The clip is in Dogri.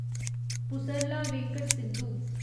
पुसरला वेंकट सिंधु